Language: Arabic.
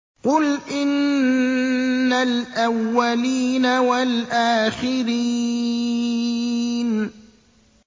قُلْ إِنَّ الْأَوَّلِينَ وَالْآخِرِينَ